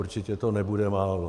Určitě to nebude málo.